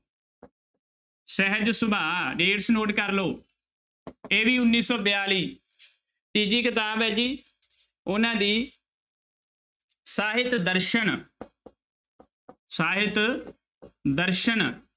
ਸਹਿਜ Subha dates note ਕਰ ਲਓ ਇਹ ਵੀ ਉੱਨੀ ਸੌ ਬਿਆਲੀ ਤੀਜੀ ਕਿਤਾਬ ਹੈ ਜੀ ਉਹਨਾਂ ਦੀ ਸਾਹਿਤ ਦਰਸਨ ਸਾਹਿਤ ਦਰਸਨ